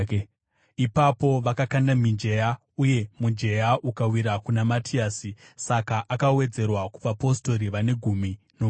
Ipapo vakakanda mijenya, uye mujenya ukawira kuna Matiasi; saka akawedzerwa kuvapostori vane gumi nomumwe.